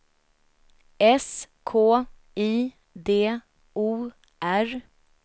S K I D O R